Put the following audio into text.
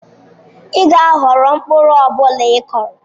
Ị ga-aghọrọ mkpụrụ ọ bụla ị kụrụ.